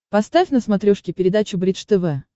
поставь на смотрешке передачу бридж тв